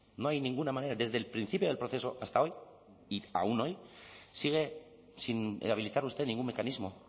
no hay ninguna manera desde el principio del proceso hasta hoy y aún hoy sigue sin habilitar usted ningún mecanismo